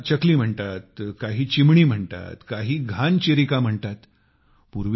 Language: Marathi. काही याला चकली म्हणतात काही चिमणी म्हणतात काही घान चिरिका म्हणतात